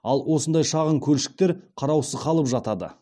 ал осындай шағын көлшіктер қараусыз қалып жатады